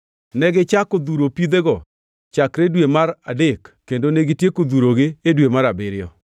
Negichako dhuro pidhego chakre dwe mar adek kendo negitieko dhurogi e dwe mar abiriyo.